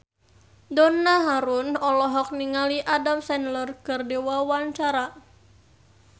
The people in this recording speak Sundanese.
Donna Harun olohok ningali Adam Sandler keur diwawancara